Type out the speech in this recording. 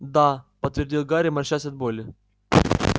да подтвердил гарри морщась от боли